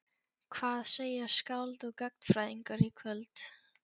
Hvað segja skáld og gagnfræðingar í kvöld?